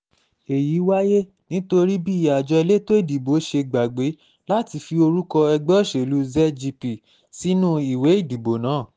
èyí wáyé nítorí bí àjọ elétò ìdìbò ṣe gbàgbé láti fi orúkọ ẹgbẹ́ òṣèlú zgp sínú ìwé ìdìbò náà